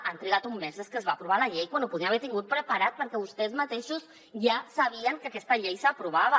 han trigat un mes des que es va aprovar la llei quan ho podíem haver tingut preparat perquè vostès mateixos ja sabien que aquesta llei s’aprovava